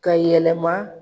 Ka yɛlɛma.